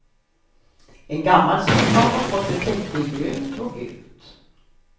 En gammal soffa har fått ett täcke i grönt och gult.